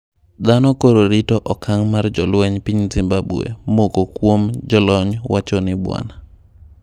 Dhanop koro rito akang mar jolweny piny zimbabwe moko kwuom jolony wachoni bwana.